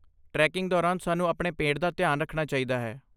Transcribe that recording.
Tracking ਦੌਰਾਨ ਸਾਨੂੰ ਆਪਣੇ ਪੇਟ ਦਾ ਧਿਆਨ ਰੱਖਣਾ ਚਾਹੀਦਾ ਹੈ।